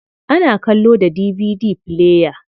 Ana kallo da DVD player.